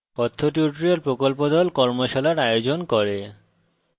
কথ্য tutorial প্রকল্প the কর্মশালার আয়োজন করে